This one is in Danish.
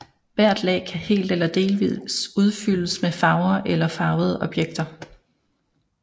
Hvert lag kan helt eller delvist udfyldes med farver eller farvede objekter